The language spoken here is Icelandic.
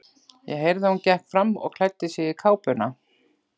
Ég heyrði að hún gekk fram og klæddi sig í kápuna.